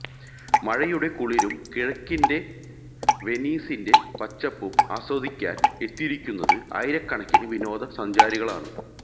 മഴയുടെ കുളിരും കിഴക്കിന്റെ വെനീസിന്റെ പച്ചപ്പും ആസ്വദിക്കാന് എത്തിയിരിക്കുന്നത് ആയിരക്കണക്കിന് വിനോദ സഞ്ചാരികളാണ്